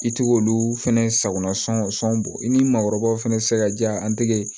I tɛ k'olu fɛnɛ sagona sɔn bɔ i ni maakɔrɔbaw fana tɛ se ka diya an tɛgɛ ye